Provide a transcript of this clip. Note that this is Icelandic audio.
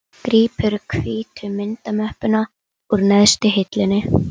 Bílarnir eru flestir japanskir eða evrópsk